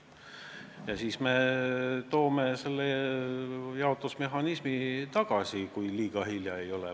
Ja siis me võtame selle jaotusmehhanismi uuesti kasutusele, kui liiga hilja ei ole.